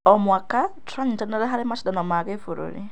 O mwaka, tũranyitanĩra harĩ macindano ma gĩbũrũri.